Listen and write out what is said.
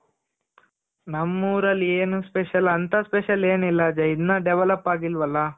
ನಮ್ಮೂರಲ್ಲಿ ಏನ್ special ಅಂತ special ಏನು ಇಲ್ಲ ಅಜಯ್ ಇನ್ನು develop ಅಗಿಲ್ವಲ .